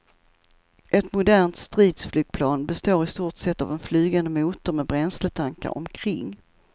Ett modernt stridsflygplan består i stort sett av en flygande motor med bränsletankar omkring.